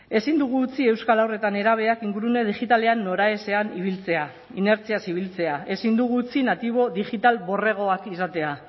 ezin dugu utzi euskal haur eta nerabeak ingurune digitalean noraezean ibiltzea inertziaz ibiltzea ezin dugu utzi natibo digital borregoak izatea